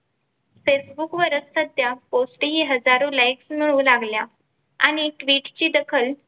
Facebook वरच कोटी हजारो Likes मिळू लागल्या आणि Tweet ची दखल.